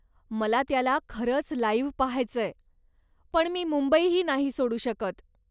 मला त्याला खरंच लाइव्ह पाहायचंय, पण मी मुंबईही नाही सोडू शकत.